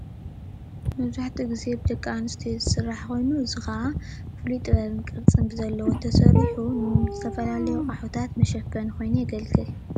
መብዛሕቱኡ ግዜ ብደቂ ኣንስትዮ ዝስራሕ ኮይኑ። እዚ ከዓ ፍሉይ ጥበብን ቕርፅን ብዘለዎ ተሰሪሑ ንዝተፈላለዩ ኣቕሓታት መሸፈኒ ኮይኑ የገልግል፡፡